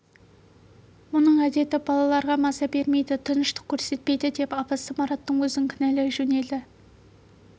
мұның әдеті балаларға маза бермейді тыныштық көрсетпейді деп апасы мараттың өзін кінәлай жөнелді